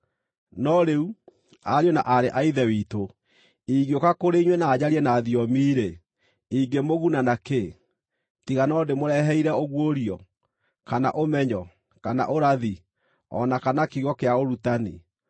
No rĩu, ariũ na aarĩ a Ithe witũ, ingĩũka kũrĩ inyuĩ na njarie na thiomi-rĩ, ingĩmũguna nakĩ, tiga no ndĩmũreheire ũguũrio, kana ũmenyo, kana ũrathi, o na kana kiugo kĩa ũrutani?